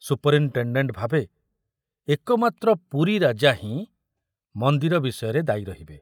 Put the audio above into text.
Superintendent ଭାବେ ଏକମାତ୍ର ପୁରୀ ରାଜା ହିଁ ମନ୍ଦିର ବିଷୟରେ ଦାୟୀ ରହିବେ।